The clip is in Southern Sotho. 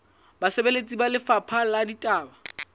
basebeletsi ba lefapha la ditaba